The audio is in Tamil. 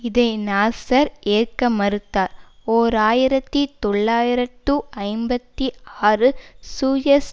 இதை நாசர் ஏற்க மறுத்தார் ஓர் ஆயிரத்தி தொள்ளாயிரத்து ஐம்பத்தி ஆறு சூயஸ்